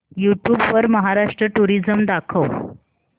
YouTube वर Maharashtra tourism दाखव